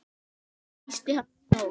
Tísti hann í nótt?